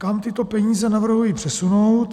Kam tyto peníze navrhuji přesunout?